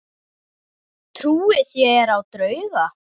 Trúið þér á drauga?